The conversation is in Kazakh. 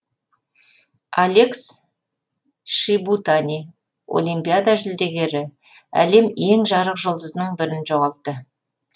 алекс шибутани олимпиада жүлдегері әлем ең жарық жұлдызының бірін жоғалтты